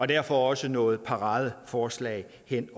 derfor også noget paradeforslag ved